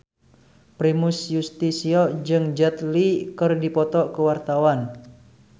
Primus Yustisio jeung Jet Li keur dipoto ku wartawan